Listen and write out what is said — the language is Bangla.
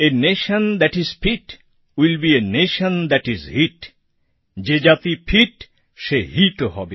a nation that is fit will be a nation that is hit যে জাতি ফিট সে হিটও হবে